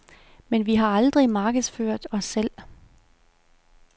Men vi har aldrig markedsført os selv.